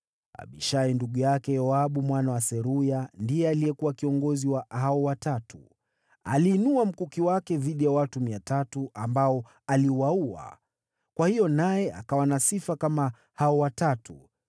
Abishai ndugu yake Yoabu mwana wa Seruya ndiye alikuwa kiongozi wa hao Watatu. Aliinua mkuki wake dhidi ya watu 300 ambao aliwaua, kwa hiyo naye akawa na sifa kama hao Watatu.